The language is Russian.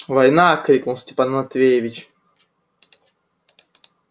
война крикнул степан матвеевич